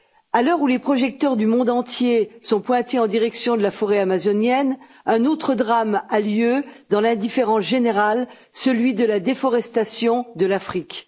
À l'heure où les projecteurs du monde entier sont pointés en direction de la forêt amazonienne, un autre drame a lieu dans l'indifférence générale celui de la déforestation de l'Afrique.